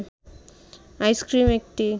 ice cream একটি